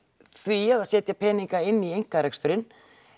því að setja peninga inn í einkareksturinn